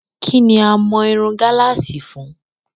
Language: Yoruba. Kí ni a mọ irun gálààsì fún?